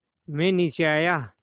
मैं नीचे आया